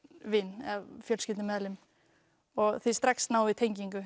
vin eða fjölskyldumeðlim þið strax náið tengingu